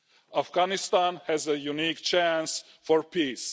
Afghanistan has a unique chance for peace.